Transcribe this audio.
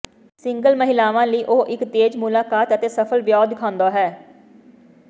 single ਮਹਿਲਾਵਾਂ ਲਈ ਉਹ ਇਕ ਤੇਜ਼ ਮੁਲਾਕਾਤ ਅਤੇ ਸਫ਼ਲ ਵਿਆਹ ਦਿਖਾਉਂਦਾ ਹੈ